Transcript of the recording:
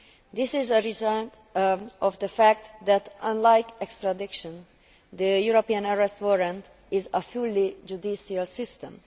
This is a result of the fact that, unlike extradition, the European Arrest Warrant is a fully judicial system.